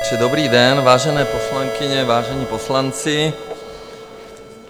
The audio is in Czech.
Dobrý den, vážené poslankyně, vážení poslanci.